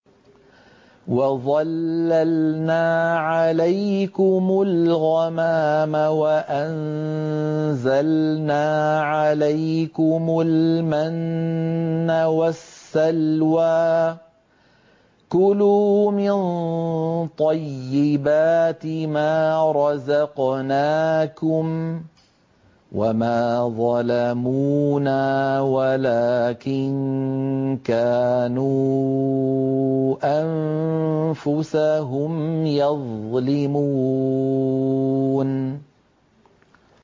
وَظَلَّلْنَا عَلَيْكُمُ الْغَمَامَ وَأَنزَلْنَا عَلَيْكُمُ الْمَنَّ وَالسَّلْوَىٰ ۖ كُلُوا مِن طَيِّبَاتِ مَا رَزَقْنَاكُمْ ۖ وَمَا ظَلَمُونَا وَلَٰكِن كَانُوا أَنفُسَهُمْ يَظْلِمُونَ